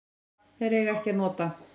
Þeir eiga ekki að nota